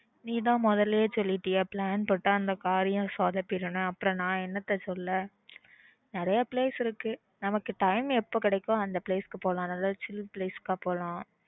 நீ தான் முதல்லயே சொல்லிட்டியே plan போட்ட அந்த காரியம் சொதப்பிடும் ன்னு அப்புறம் நான் என்னத்த சொல்ல நிறைய place இருக்கு நம்மக்கு time எப்ப கிடைக்குதோ அந்த place க்கு போலாம் நல்ல chill place க்கு போலாம்